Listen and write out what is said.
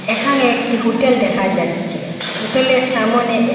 এখানে একটি হোটেল দেহা যাচ্ছে হোটেলের সামোনে এক--